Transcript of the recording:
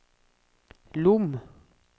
Lom